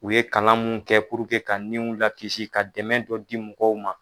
U ye kalan min kɛ ka niw lakisi ka dɛmɛ dɔ di mɔgɔw ma